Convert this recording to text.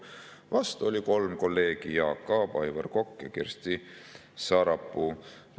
Vastu oli 3 kolleegi: Jaak Aab, Aivar Kokk ja Kersti Sarapuu.